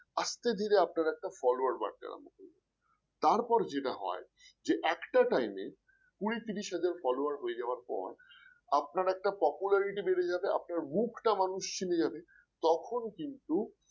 আস্তে ধীরে আপনার একটা follower বাড়তে লাগলো তারপর যেটা হয় যে একটা time কুড়ি ত্রিশ হাজার follower হয়ে যাওয়ার পর আপনার একটা popularity বেড়ে যাবে আপনার মুখটা মানুষ চিনে যাবে তখন কিন্তু